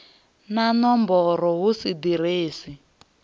na nomboro hu si ḓiresi